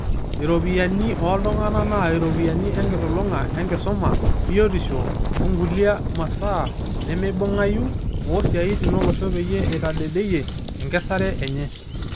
Iropiyani ooltunganak naa iropiyani enkilulunga e nkisuma, biotisho ongulia masaa nemeibungayu oosiatin olosho peyie eitadedeyia enkesare enye.